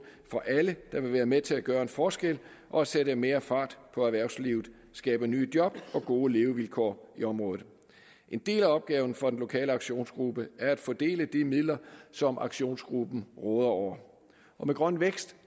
for alle der vil være med til at gøre en forskel og sætte mere fart på erhvervslivet skabe nye job og gode levevilkår i området en del af opgaven for den lokale aktionsgruppe er at fordele de midler som aktionsgruppen råder over med grøn vækst